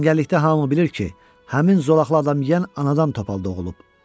Cəngəllikdə hamı bilir ki, həmin zolaqlı adam yiyən anadan topal doğulub.